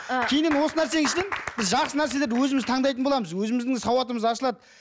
ы кейіннен осы нәрсенің ішінен біз жақсы нәрселерді өзіміз таңдайтын боламыз өзіміздің сауатымыз ашылады